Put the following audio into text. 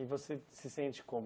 E você se sente como?